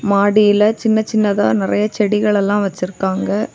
மாடியில சின்ன சின்னதா நறைய செடிகள் எல்லாம் வச்சிருக்காங்க.